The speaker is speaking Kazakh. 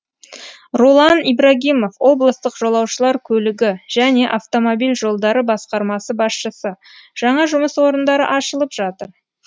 ролан ибрагимов облыстық жолаушылар көлігі және автомобиль жолдары басқармасы басшысы жаңа жұмыс орындары ашылып жатыр